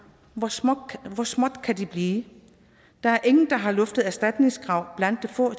hvor småt hvor småt kan det blive der er ingen der har luftet erstatningskrav blandt de få